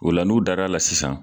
Ola n'u dar'ala sisan